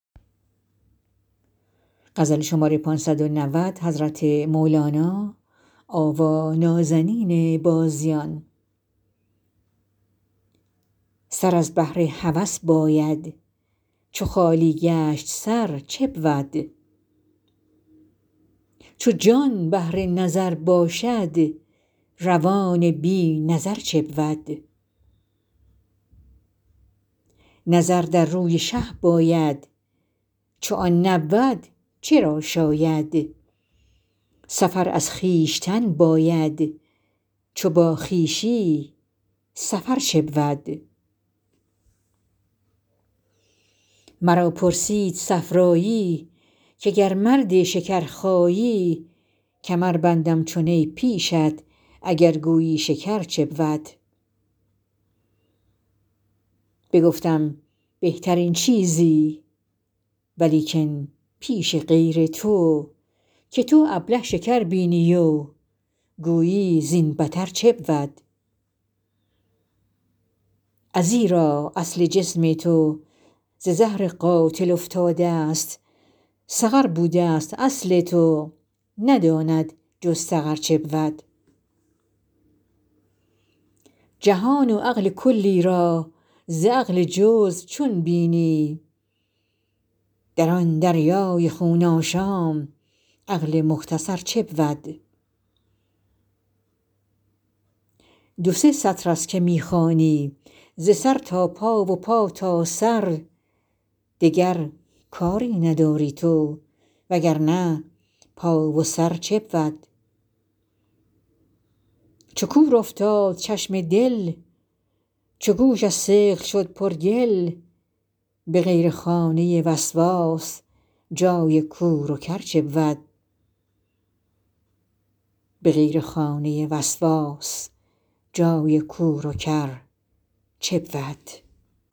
سر از بهر هوس باید چو خالی گشت سر چه بود چو جان بهر نظر باشد روان بی نظر چه بود نظر در روی شه باید چو آن نبود چه را شاید سفر از خویشتن باید چو با خویشی سفر چه بود مرا پرسید صفرایی که گر مرد شکرخایی کمر بندم چو نی پیشت اگر گویی شکر چه بود بگفتم بهترین چیزی ولیکن پیش غیر تو که تو ابله شکر بینی و گویی زین بتر چه بود ازیرا اصل جسم تو ز زهر قاتل افتادست سقر بودست اصل تو نداند جز سقر چه بود جهان و عقل کلی را ز عقل جزو چون بینی در آن دریای خون آشام عقل مختصر چه بود دو سه سطرست که می خوانی ز سر تا پا و پا تا سر دگر کاری نداری تو وگر نه پا و سر چه بود چو کور افتاد چشم دل چو گوش از ثقل شد پرگل به غیر خانه وسواس جای کور و کر چه بود